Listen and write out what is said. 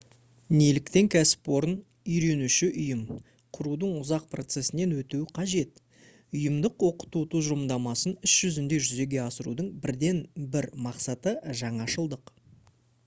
неліктен кәсіпорын «үйренуші ұйым» құрудың ұзақ процесінен өтуі қажет? ұйымдық оқыту тұжырымдамасын іс жүзінде жүзеге асырудың бірден бір мақсаты - жаңашылдық